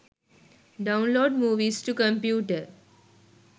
download movies to computer